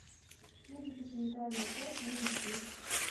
медико санитарная часть номер три